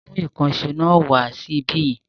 Mú ìkànṣọ́ náà wa sí ibí yìí.